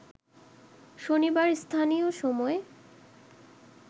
শনিবার স্থানীয় সময়